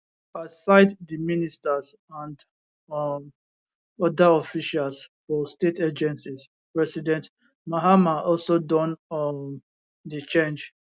aside di ministers and um oda officials for state agencies president mahama also don um dey change